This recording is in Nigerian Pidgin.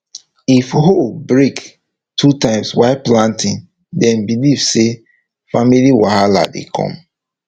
if hoe break two times while planting dem believe say family wahala dey come